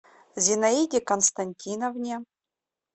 зинаиде константиновне